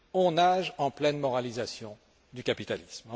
On nage en pleine moralisation du capitalisme.